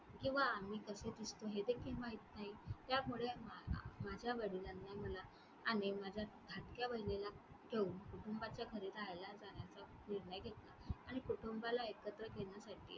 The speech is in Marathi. किंवा आम्ही कसे दिसतो हे देखील माहीत नाही त्यामुळे अं माझ्या वडिलांना मला आणि माझ्या धाकट्या बहिणीला गेहुन कुटुंबाच्या घरी राहायला जाण्याचा निर्णय घेतला आणि कुटुंबाला एकत्र घेण्यासाठी